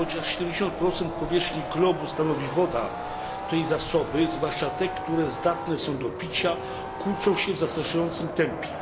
Chociaż 70 powierzchni globu stanowi woda, to jej zasoby, zwłaszcza te, które zdatne są do picia, kurczą się w zastraszającym tempie.